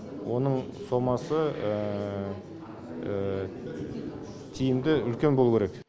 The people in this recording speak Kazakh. оның сомасы тиімді үлкен болу керек